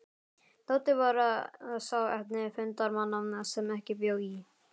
Tóti var sá eini fundarmanna sem ekki bjó í